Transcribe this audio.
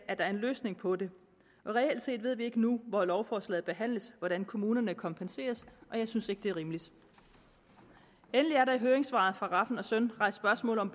er en løsning på det reelt set ved vi ikke nu hvor lovforslaget behandles hvordan kommunerne kompenseres og jeg synes ikke det er rimeligt endelig er der i høringssvaret fra rafn søn rejst spørgsmål om